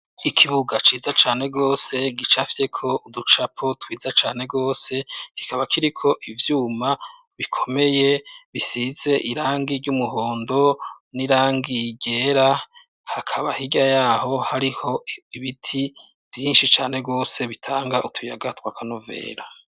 Ikibuga ciza cane rwose, gicafyeko uducapo twiza cane rwose, kikaba kiriko ivyuma bikomeye bisize irangi ry'umuhondo n'irangi ryera, hakaba hirya yaho, hariho ibiti vyinshi cane rwose bitanga utuyaga tw'akanovera.